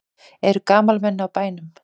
Eru gamalmenni á bænum?